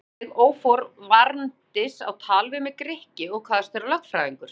Þá gaf sig óforvarandis á tal við mig Grikki og kvaðst vera lögfræðingur.